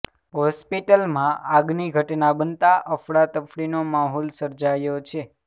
હોસ્પિટલમાં આગની ઘટના બનતા અફડા તફડીનો માહોલ સર્જાયો છે